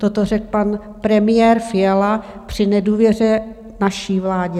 Toto řekl pan premiér Fiala při nedůvěře naší vládě.